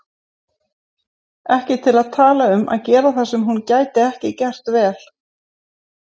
Ekki til að tala um að gera það sem hún gæti ekki gert vel.